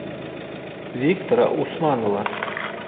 виктора усманова